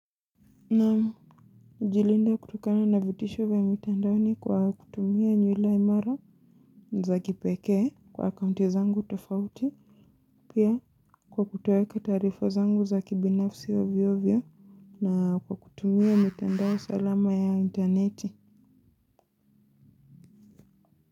Najilinda kutokana na vitisho vya mitandaoni kwa kutumia nywila imara za kipekee kwa akaunti zangu tofauti. Pia kwa kutoeka taarifa zangu za kibinafsi ovyo ovyo na kwa kutumia mitandao salama ya interneti.